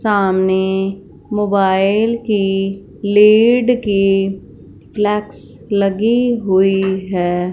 सामने मोबाइल की लीड की फ्लेक्स लगी हुई है।